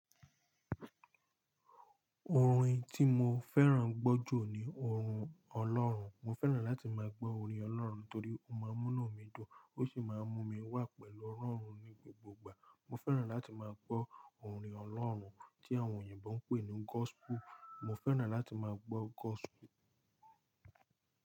Orin tí mo fẹ́ràn gbọ́ jù ni orin ọlọ́run. Mo fẹ́ràn láti máa gbọ́ orin ọlọ́run torí ó máa ń mú inú mi dún, ó sì máa ń mú mi wà pẹ̀lú Ọlọ́run ní gbogbo ìgbà. Mo fẹ́ràn láti máa gbọ́ orin ọlọ́run tí àwọn òyìnbó ń pè ní gospel. Mo fẹ́ràn láti máa gbọ́ gospel.